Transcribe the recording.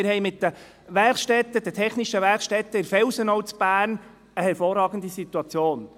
Wir haben mit den Werkstätten, den technischen Werkstätten dort in der Felsenau in Bern eine hervorragende Situation.